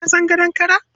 Ka san gadon kara?